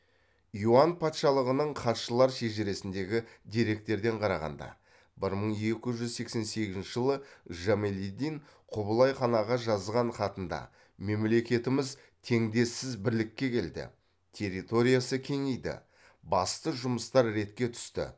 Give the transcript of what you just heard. юань патшалығының хатшылар шежіресіндегі деректерден қарағанда бір мың екі жүз сексен сегізінші жылы жамалиддін құбылай ханаға жазған хатында мемлекетіміз теңдессіз бірлікке келді территориясы кеңейді басты жұмыстар ретке түсті